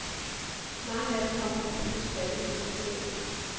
Mange af dem kommer fra byens fattigste kvarterer.